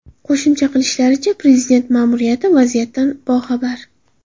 Qo‘shimcha qilishlaricha, prezident ma’muriyati vaziyatdan boxabar.